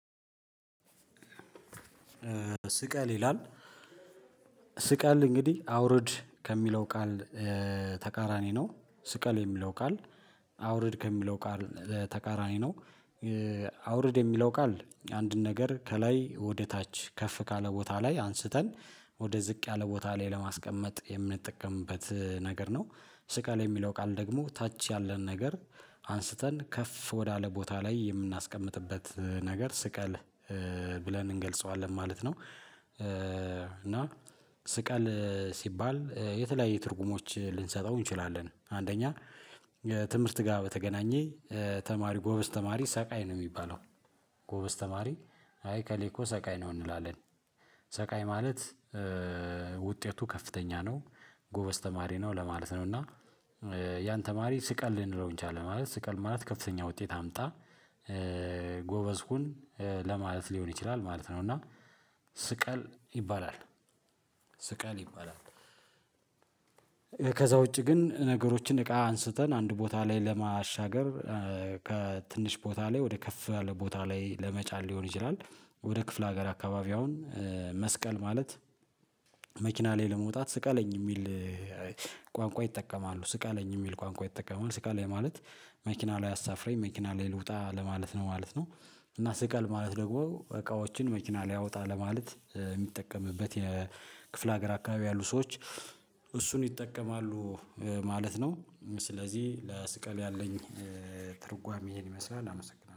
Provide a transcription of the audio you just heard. ስቀል ይላል ስቀል እንግዲህ አውርድ ከሚለው ቃል ተቃራኒ ነው። ስቀል የሚለው ቃል አውርድ ከሚለው ቃል ተቃራኒ ነው። አውርድ የሚለው ቃል አንድን ነገር ከላይ ወደ ታች ከፍ ካለ ቦታ ላይ አንስተን ወደ ዝቅ ያለ ቦታ ላይ ለማስቀመጥ የምንጠቀምበት ነገር ነው። ስቀል የሚለው ቃል ደግሞ ታች ያለን ነገር አንስተን ከፍ ወዳለ ቦታ ላይ የምናስቀምጥበት ነገር ስቀል አውርድ ከሚለው ቃል ተቃራኒ ነው። ስቀል ሲባል የተለያዩ ትርጉሞች ልንሰጠው እንችላለን። አንደኛ ትምህርት ጋር በተገናኘ ተማሪ ጎበዝ ተማሪ ሰቃይ ነው የሚባለው። ጎበዝ ተማሪ አይ ኤከሌ እኮ ሰቃይ ነው እንላለን። ሰቃይ ማለት ውጤቱ ከፍተኛ ነው። ጎበዝ ተማሪ ነው ለማለት ነው። እና ያን ተማሪ ስቀል ልንለው እንችላለን ማለት ስቀል ማለት ከፍተኛ ውጤት አምጣ። ጎበዝ ሁን ለማለት ሊሆን ይችላል ማለት ነው። እና ስቀል ይባላል። ስቀል ይባላል። ከዛ ውጪ ግን ነገሮችን እቃ አንስተን አንድ ቦታ ላይ ለማሻገር ከትንሽ ቦታ ላይ ወደ ከፍ ያለ ቦታ ላይ ለመጫን ሊሆን ይችላል። ወደ ክፍለ ሀገር አካባቢ አሁን መስቀል ማለት። መኪና ላይ ለመውጣት ስቀለኝ የሚል ቋንቋ ይጠቀማሉ ስቀለኝ የሚል ቋንቋ ይጠቀማሉ ስቀለኝ ማለት መኪና ላይ አሳፍሬኝ መኪና ላይ ልውጣ ለማለት ነው ማለት ነው። እና ስቀል ማለት ደግሞ እቃዎችን መኪና ላይ አውጣ ለማለት የሚጠቀምበት የክፍለ ሀገር አካባቢ ያሉ ሰዎች እሱን ይጠቀማሉ። ማለት ነው። ስለዚህ ለስቀል ያለኝ ትርጓሜ እሄን ይመስላል አመሰግናለሁ